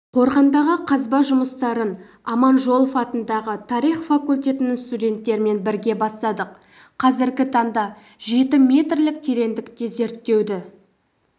қорғандағы қазба жұмыстарын аманжолов атындағы тарих факультетінің студенттерімен бірге бастадық қазіргі таңда жеті метрлік тереңдікте зерттеуді